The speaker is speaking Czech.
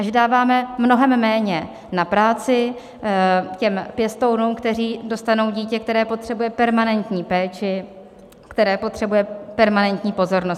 A že dáváme mnohem méně na práci těm pěstounům, kteří dostanou dítě, které potřebuje permanentní péči, které potřebuje permanentní pozornost.